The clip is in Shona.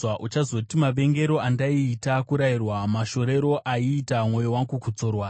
Uchazoti, “Mavengero andaiita kurayirwa! Mashorero aiita mwoyo wangu kudzorwa!